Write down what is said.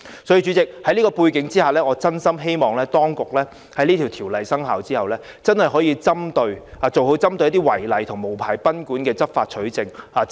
主席，在這個背景下，我真心希望當局在新條例生效後，可以做好一些針對違例和無牌經營賓館的執法取證工作。